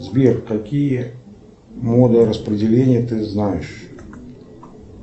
сбер какие моды распределения ты знаешь